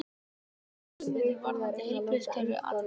Telur hugmyndir varðandi heilbrigðiskerfið athyglisverðar